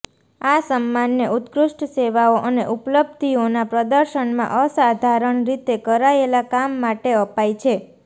આ સમ્માનને ઉત્કૃષ્ટ સેવાઓ અને ઉપલબ્ધિઓના પ્રદર્શનમાં અસાધારણ રીતે કરાયેલા કામ માટે અપાય છે